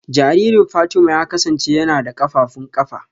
Jaririn Fatima ya kasance yana da kafafun kafa